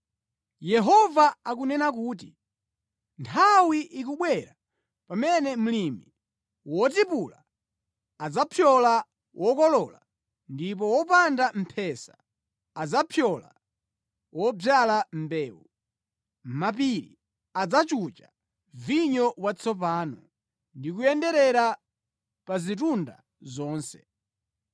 Yehova akunena kuti “Nthawi ikubwera pamene mlimi wotipula adzapyola wokolola ndipo woponda mphesa adzapyola wodzala mbewu. Mapiri adzachucha vinyo watsopano ndi kuyenderera pa zitunda zonse.